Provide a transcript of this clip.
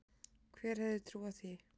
Hver hefði trúað því?